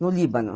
No Líbano.